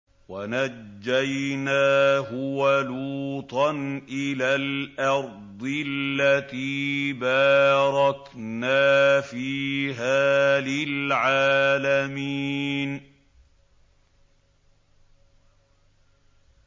وَنَجَّيْنَاهُ وَلُوطًا إِلَى الْأَرْضِ الَّتِي بَارَكْنَا فِيهَا لِلْعَالَمِينَ